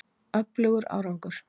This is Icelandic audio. Öflugur árgangur.